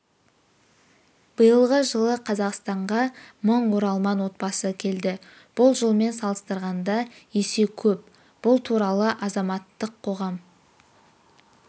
биылғы жылы қазақстанға мың оралман отбасы келді бұл жылмен салыстырғанда есе көп бұл туралы азаматтық қоғам